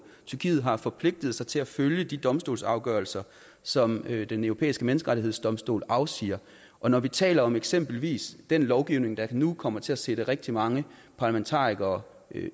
tyrkiet har forpligtet sig til at følge de domstolsafgørelser som den europæiske menneskerettighedsdomstol afsiger og når vi taler om eksempelvis den lovgivning der nu kommer til at sætte rigtig mange parlamentarikere